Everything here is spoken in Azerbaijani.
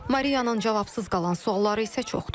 Mariyanın cavabsız qalan sualları isə çoxdur.